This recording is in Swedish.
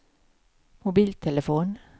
mobiltelefon